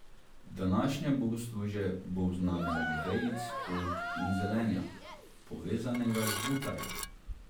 Današnje bogoslužje bo v znamenju vejic oljk in zelenja, povezanega v butare.